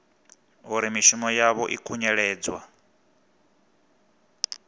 uri mishumo yavho i khunyeledzwa